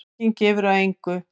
Enginn gefur af engu.